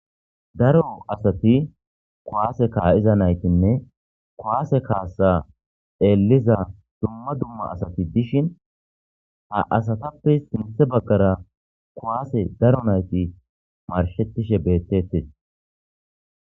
Daro asati kowaase kaa'iza naytinne kowaase kaasa eliza dumma dumma asati dishin ha asatappe sinthe baggara kowaase daro nayti marshettishe bettete.